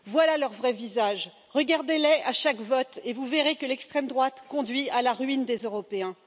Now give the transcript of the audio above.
Voilà leur vrai visage, regardez les à chaque vote et vous verrez que l'extrême droite conduit à la ruine des Européens.